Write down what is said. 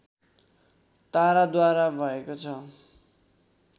ताराद्वारा भएको छ